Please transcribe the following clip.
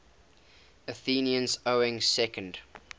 athenians owning second